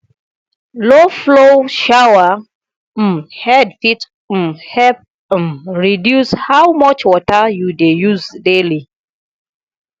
low flow shower um head fit um help um reduce how much water you dey use daily